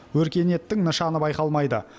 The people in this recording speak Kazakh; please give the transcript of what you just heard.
өркениеттің нышаны байқалмайды